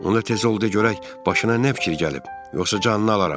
Onda tez ol, görək başına nə fikir gəlib, yoxsa canını alaram.